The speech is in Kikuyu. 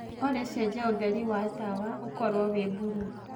olly cenjĩa utheri wa tawaũkorwo wi bulũũ